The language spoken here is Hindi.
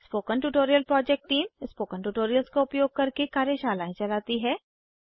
spoken tutorial project team spoken tutorials का उपयोग करके कार्यशालाएं चलाती है